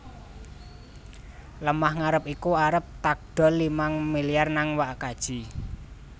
Lemah ngarep iku arep takdol limang miliar nang wak kaji